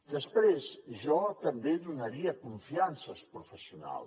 després jo també donaria confiança als professionals